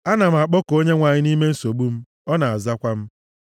Ana m akpọku Onyenwe anyị nʼime nsogbu m, ọ na-azakwa m.